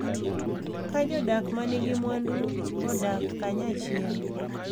Ka jodak ma nigi mwandu odak kanyachiel